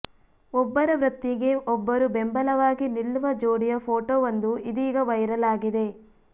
ಒಬ್ಬರ ವೃತ್ತಿಗೆ ಒಬ್ಬರು ಬೆಂಬಲವಾಗಿ ನಿಲ್ಲುವ ಜೋಡಿಯ ಫೋಟೋವೊಂದು ಇದೀಗ ವೈರಲ್ ಆಗಿದೆ